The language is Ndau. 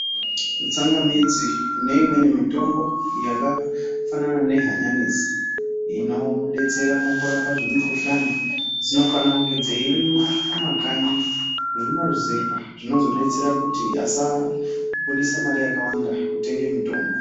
Tsangamidzi neimweni mitombo yakafanana nehanyanisi inodetsera mukurapa zvimukuhlani dzinofana kunge dzeirimwa kumakanyi nekumaruzevha. Zvinozodetsera kuti asabudisa mare yakawanda kutenge mitombo.